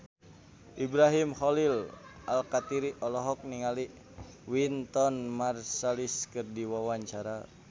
Ibrahim Khalil Alkatiri olohok ningali Wynton Marsalis keur diwawancara